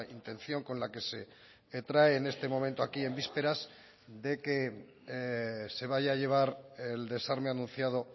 intención con la que se trae en este momento aquí en vísperas de que se vaya a llevar el desarme anunciado